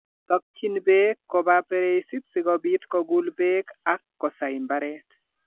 Tokyin beek koba pereisit sikobiit koguul beek ak kosai mbaret